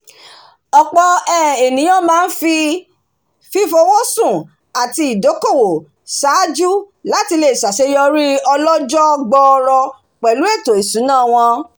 ọ̀pọ̀ um ènìyàn máa ń fi fífowóṣùn àti ìdókòwò ṣáájú láti le ṣàṣeyọrí ọlọ́jọ́ọ́ gbooro pẹ̀lú ètò ìsúná wọn